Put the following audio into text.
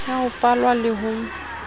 ya ho falwa le ho